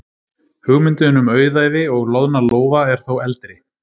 Hugmyndin um auðæfi og loðna lófa er þó eldri.